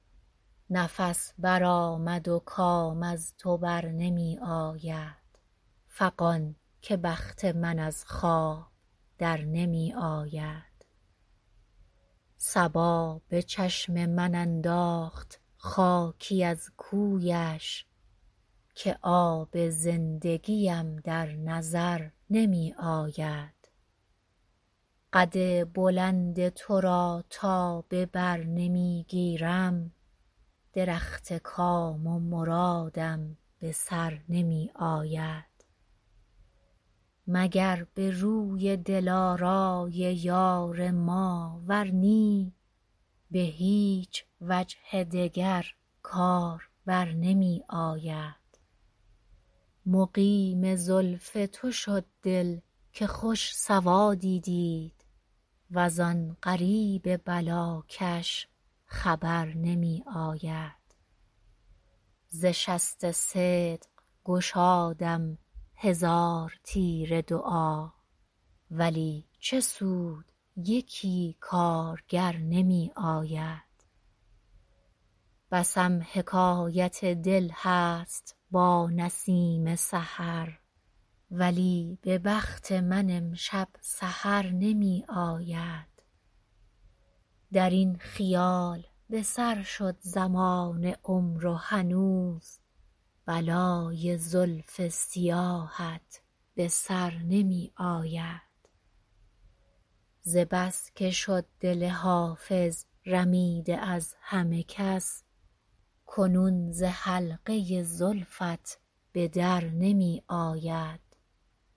نفس برآمد و کام از تو بر نمی آید فغان که بخت من از خواب در نمی آید صبا به چشم من انداخت خاکی از کویش که آب زندگیم در نظر نمی آید قد بلند تو را تا به بر نمی گیرم درخت کام و مرادم به بر نمی آید مگر به روی دلارای یار ما ور نی به هیچ وجه دگر کار بر نمی آید مقیم زلف تو شد دل که خوش سوادی دید وز آن غریب بلاکش خبر نمی آید ز شست صدق گشادم هزار تیر دعا ولی چه سود یکی کارگر نمی آید بسم حکایت دل هست با نسیم سحر ولی به بخت من امشب سحر نمی آید در این خیال به سر شد زمان عمر و هنوز بلای زلف سیاهت به سر نمی آید ز بس که شد دل حافظ رمیده از همه کس کنون ز حلقه زلفت به در نمی آید